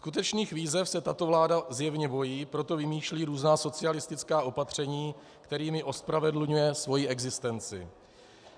Skutečných výzev se tato vláda zjevně bojí, proto vymýšlí různá socialistická opatření, kterými ospravedlňuje svoji existenci.